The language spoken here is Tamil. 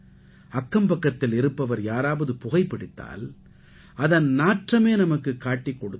அக்கம்பக்கத்தில் இருப்பவர் யாராவது புகைபிடித்தால் அதன் நாற்றமே நமக்குக் காட்டிக் கொடுத்து விடும்